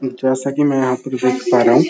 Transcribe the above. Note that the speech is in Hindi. जैसा की मैं यहाँ पर देख पा रहा हूँ --